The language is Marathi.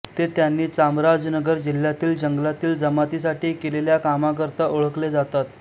ते त्यांनी चामराजनगर जिल्हातील जंगलातील जमातीसाठी केलेल्या कामाकरता ओळखले जातात